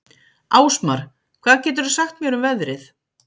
Ásmar, hvað geturðu sagt mér um veðrið?